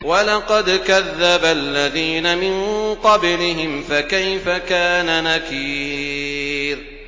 وَلَقَدْ كَذَّبَ الَّذِينَ مِن قَبْلِهِمْ فَكَيْفَ كَانَ نَكِيرِ